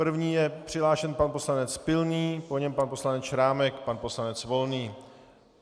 První je přihlášen pan poslanec Pilný, po něm pan poslanec Šrámek, pan poslanec Volný.